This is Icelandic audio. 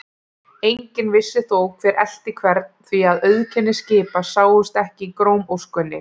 Enginn vissi þó, hver elti hvern, því að auðkenni skipa sáust ekki í grámóskunni.